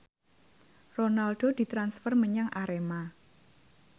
Ronaldo ditransfer menyang Arema